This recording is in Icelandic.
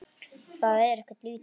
Það er ekkert lítið!